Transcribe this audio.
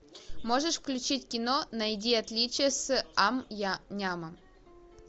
можешь включить кино найди отличия с ам нямом